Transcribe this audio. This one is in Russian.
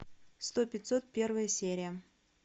сто пятьсот первая серия